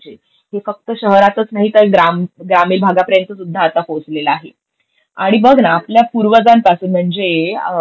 हे फक्त शहरातच नाही तर ग्राम ग्रामीण भागापर्यंतसुद्धा आता पोहोचलेला आहे. आणि बघ ना, आपल्या पूर्वजांपासून म्हणजेहे फक्त शहरातच नाही तर ग्राम ग्रामीण भागापर्यंतसुद्धा आता पोहोचलेला आहे. आणि बघ ना, आपल्या पूर्वजांपासून म्हणजे